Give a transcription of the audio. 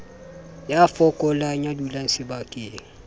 ya fokolang ya dulang sebakeng